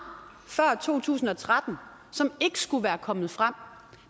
før to tusind og tretten som ikke skulle være kommet frem